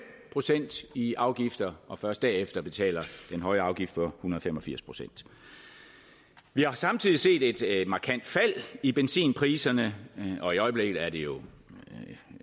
procent i afgifter og først derefter betaler den høje afgift på en hundrede og fem og firs procent vi har samtidig set et markant fald i benzinpriserne i øjeblikket er det jo